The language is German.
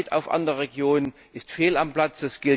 Neid auf andere Regionen ist fehl am Platz.